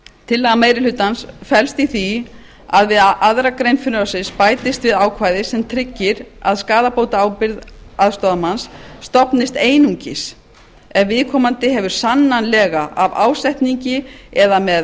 tillaga meiri hlutans felst í því að við aðra grein frumvarpsins bætist við ákvæði sem tryggir að skaðabótaábyrgð aðstoðarmanns stofnist einungis ef viðkomandi hefur sannanlega af ásetningi eða með